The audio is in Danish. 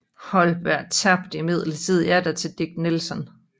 Holberg tabte imidlertid atter til Dick Nelson